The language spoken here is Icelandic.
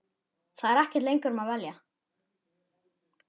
Það er ekkert lengur um að velja.